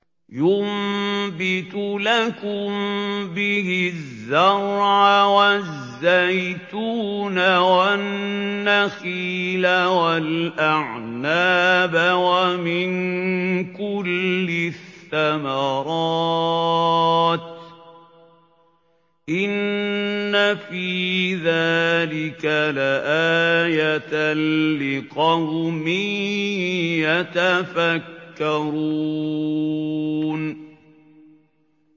يُنبِتُ لَكُم بِهِ الزَّرْعَ وَالزَّيْتُونَ وَالنَّخِيلَ وَالْأَعْنَابَ وَمِن كُلِّ الثَّمَرَاتِ ۗ إِنَّ فِي ذَٰلِكَ لَآيَةً لِّقَوْمٍ يَتَفَكَّرُونَ